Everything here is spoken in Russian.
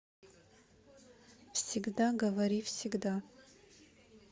всегда говори всегда